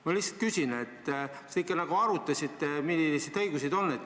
Ma lihtsalt küsin, kas te ikka arutasite, millised need õigused on.